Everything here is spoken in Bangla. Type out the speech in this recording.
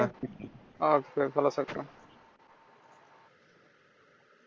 আচ্ছা ভালো থাকবেন।